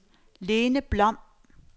Lene Blom